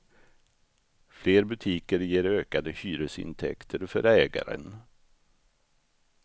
Fler butiker ger ökade hyresintäkter för ägaren.